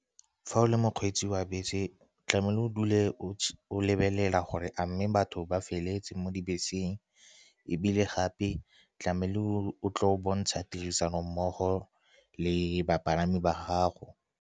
Fa o le mokgweetsi wa bese tlamehile o dule o lebelela gore a mme batho ba feletse mo dibeseng, ebile gape tlamehile o tle o bontsha tirisanommogo le bapalami ba gago.